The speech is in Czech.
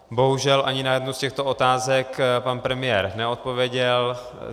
Bohužel ani na jednu z těchto otázek pan premiér neodpověděl.